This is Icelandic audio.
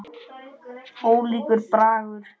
Ólíkur bragur.